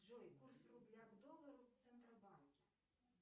джой курс рубля к доллару в центробанке